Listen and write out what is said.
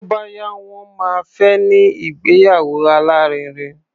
Tó bá yá, wọ́n máa fẹ́ ní ìgbéyàwó alárinrin.